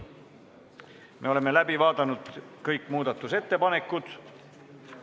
Me oleme läbi vaadanud kõik muudatusettepanekud.